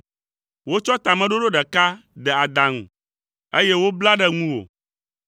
Wotsɔ tameɖoɖo ɖeka de adaŋu, eye wobla ɖe ŋuwò,